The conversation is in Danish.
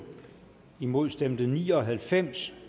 imod stemte ni og halvfems